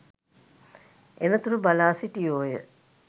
එන තුරු බලා සිටියෝය